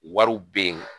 Wariw bɛ yen